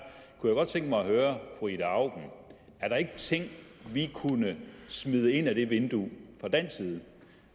kunne jeg godt tænke mig at høre fru ida auken er der ikke ting vi kunne smide ind ad det vindue fra dansk side